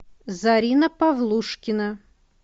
зарина павлушкина